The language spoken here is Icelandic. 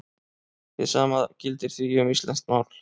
Hið sama gildir því um íslenskt mál.